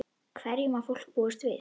Hverju má fólk búast við?